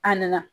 A nana